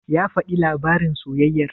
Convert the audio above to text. Ya faɗi labarin soyayyar?